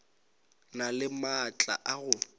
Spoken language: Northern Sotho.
na le maatla a go